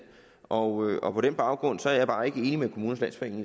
og og på den baggrund er jeg bare ikke enig med kommunernes landsforening